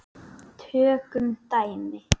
Tökum dæmi